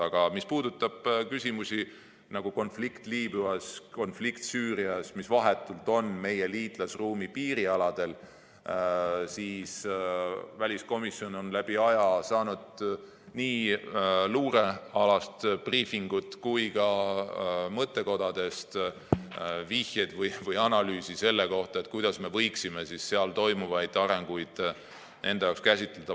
Aga mis puudutab neid küsimusi, nagu konflikt Liibüas, konflikt Süürias, mis on vahetult meie liitlasruumi piirialadel, siis väliskomisjon on läbi aegade saanud nii luurealast briifingut kui ka mõttekodadest vihjeid või analüüsi selle kohta, kuidas me võiksime seal toimuvaid arenguid käsitleda.